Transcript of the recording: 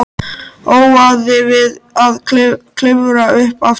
Óaði við að klifra upp aftur.